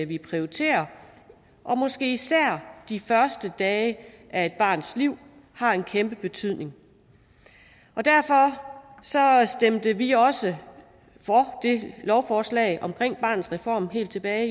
vi prioriterer og måske især de første dage af et barns liv har en kæmpe betydning derfor stemte vi også for det lovforslag omkring barnets reform helt tilbage